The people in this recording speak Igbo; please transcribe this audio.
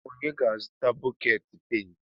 Onye ga-azụta bọket pent?